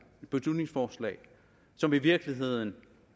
som i virkeligheden